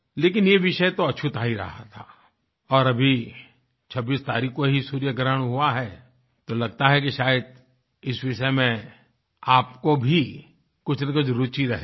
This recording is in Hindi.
लेकिन ये विषय तो अछूता ही रहा था और अभी 26 तारीख को ही सूर्यग्रहण हुआ है तो लगता है कि शायद इस विषय में आपको भी कुछ न कुछ रूचि रहेगी